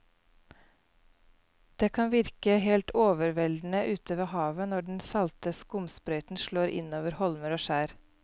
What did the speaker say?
Det kan virke helt overveldende ute ved havet når den salte skumsprøyten slår innover holmer og skjær.